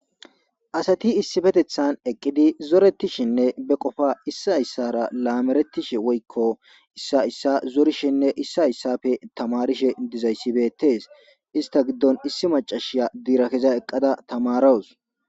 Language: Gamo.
Asathi issipetheththan eqqidi zoreththishenne be qofaa issee issaara laamereththishe woykko issay issa zorishenne issay issaape thamaarishe dizayssi beeththees; isththa giddon ishshi maccashiya dira giza eqqaza thamaarawus.